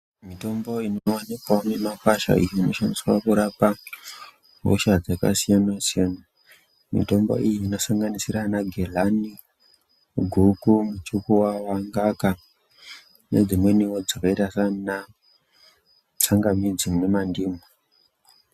Mitombo inowonekwawo mumakwasha inoshandiswa kurapa hosha dzakasiyanasiyana mitombo iyi inosanganidzira ana ghelani, guku, muchukuwawa, ngaka, nedzimweniwo dzakaita saana tsangamidzi nemandimu.